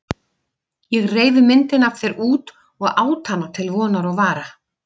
Ég reif myndina af þér út og át hana til vonar og vara.